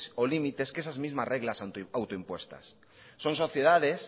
o limites que esas mismas reglas autoimpuestas son sociedades